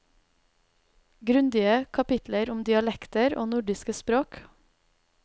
Grundige kapitler om dialekter og nordiske språk.